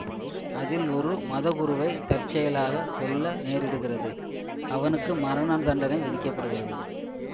அதில் ஒரு மதகுருவை தற்செயலாக கொல்ல நேரிடுகிறது அவனுக்கு மரணதண்டனை விதிக்க படுகிறது